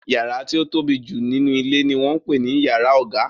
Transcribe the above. Yàrá tí ó tóbi jù nínú ilé ni wọ́n ń pè ní yàrá ọ̀gá.